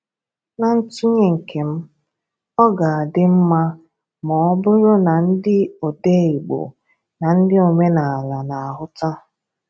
Na ntụnye nke m, ọ ga-adị mma ma ọ bụrụ na ndị odee Igbo na ndị omenaala na-ahụta.